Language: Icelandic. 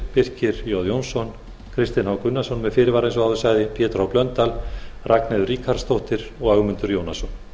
birkir j jónsson kristinn h gunnarsson með fyrirvara eins og áður sagði pétur h blöndal ragnheiður ríkharðsdóttir og ögmundur jónasson